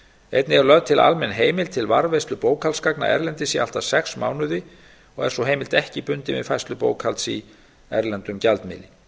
einnig er lögð til almenn heimild til varðveislu bókhaldsgagna erlendis í allt að sex mánuði er sú heimild ekki bundin við færslu bókhalds í erlendum gjaldmiðli